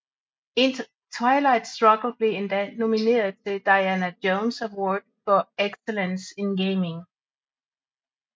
Twilight Struggle blev endda nomineret til Diana Jones Award for Excellence in Gaming